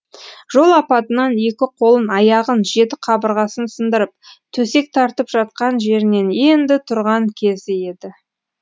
жол апатынан екі қолын аяғын жеті қабырғасын сындырып төсек тартып жатқан жерінен енді тұрған кезі еді